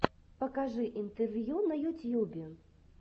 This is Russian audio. покажи интервью на ютьюбе